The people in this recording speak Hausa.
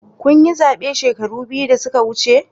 Kun yi zabe shekaru biyu da suka wuce?